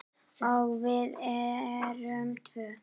Og við erum tvö.